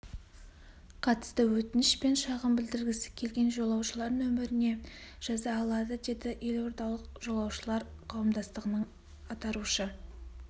қатысты өтініш пен шағым білдіргісі келген жолаушылар нөміріне жаза алады деді елордалық жолаушылар қауымдастығының атарушы